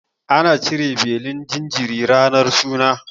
Ana cire belin jinjiri ranar suna.